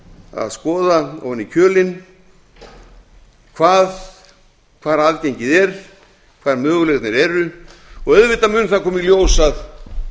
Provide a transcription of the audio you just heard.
að skoða ofan í kjölinn hvar aðgengið hvar möguleikarnir eru og auðvitað mun það koma í ljós að